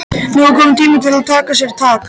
Nú er kominn tími til að taka sér tak.